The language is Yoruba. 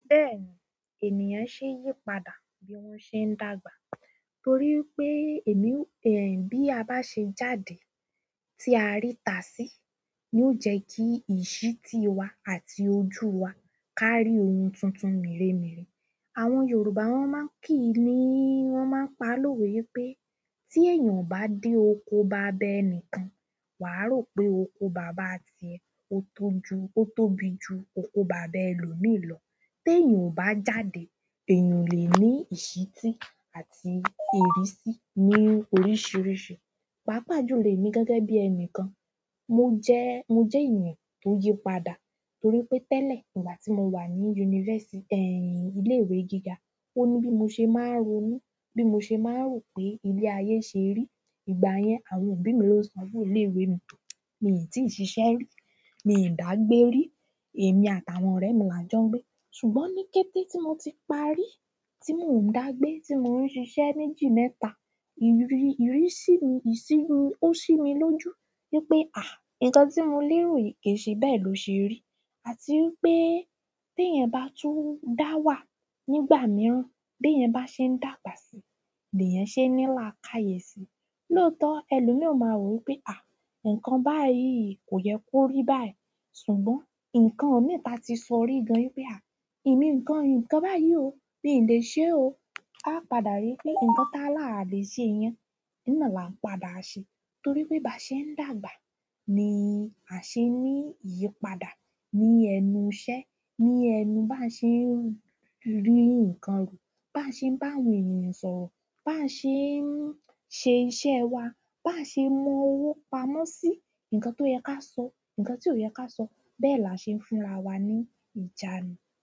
Bẹ́ẹ̀ni ènìyàn ṣe yípadà bí wọ́n ṣe ń dàgbà torí wi pé èmi, bí a bá ṣe jáde tí a rí ta sí ni ó jẹ́ kí ìsíti wa àti ojú wa kárí ohun tuntun merémeré. Àwọn Yorùbá wọ́n máa ń kì í ni wọ́n máa ń pa lówe i pé tí èèyàn o bá dé oko baba ẹnìkan, wàá rò pé oko bàbá à ti ẹ, ó tó ju, ó tóbi ju oko baba ẹlòmíì lọ. Tèèyàn ò bá jáde, èèyàn lè ní ìsíti àti ìrísí ní oríṣiríṣi. Pàápàá jù lè emí gẹ́gẹ́ bí ẹnìkan. Mo jẹ, mo jẹ ènìyàn tó yípadà torí pé tẹ́lẹ̀ ígbà tí mo wà ní university, ilé ìwé gíga, ó ní bí mo ṣe máa ń ronú, bí mo ṣe máa ń rò pé ilé ayé ṣe rí. Ìgbà yẹn àwọn òbí mi ló sanwó ilé ìwé mi tán. Mi n ti ṣiṣẹ ri mi n da gbé ri emi àtàwọn ọ̀rẹ́ mi la jọ n gbé ṣùgbọ́n ní kété tí mo ti parí, tí mò ń dàgbé, tí mò ń ṣiṣẹ́ méjì mẹ́ta, iri ìrísí mi, ìsí mi ó sí mi lójú wípé àh! Ǹkan tí mo lé rò yi ke i ṣe bẹ́ẹ̀ ló ṣe rí àti i pé teyan bá tún dá wà nígbà mìíràn, be yan bá ṣe ń dàgbà síi, leyan ṣe ní là ká yèsi. Lóòótọ́ ẹlòmíì o ma rò wípé àh! Ǹkan báyìí kò yẹ kó rí báyìí. Ṣùgbọ́n ǹkan mi ta ti sọ rí gan wípé àh! Ìmi ǹkan, ǹkan báyìí ò, mi n lè ṣe o. A padà rí i pé ǹkan tá là lè ṣe yẹn. Iná là ń padà ṣe torí pé ba ṣe ń dàgbà ni a ṣe ní ìyípadà ní ẹnu iṣẹ́, ní ẹnu bá ṣe ń rí ǹkan rù, bá ṣe ń bá àwọn ènìyàn sọ̀rọ̀, bá ṣe ń ṣe iṣẹ́ wa, bá ṣe mọ owó pamọ́ sí, ǹkan tó yẹ ká sọ, ǹkan tí ò yẹ ká sọ, bẹ́ẹ̀ là ṣe ń finra wa ní ìjánu.